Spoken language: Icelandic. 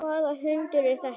Hvaða hundur er þetta?